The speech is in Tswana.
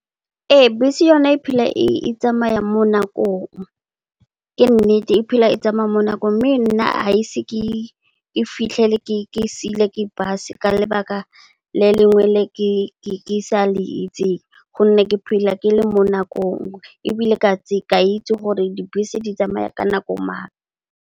Ee bese yona e phela e tsamaya mo nakong, ke nnete e phela e tsamaya mo nakong. Mme nna ga ise ke fitlhele ke siilwe ke bese ka lebaka le lengwe le ke ke sa le itseng gonne, ke phela ke le mo nakong. Ebile ke a itse gore dibese di tsamaya ka nako mang.